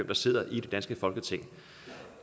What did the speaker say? der sidder i det danske folketing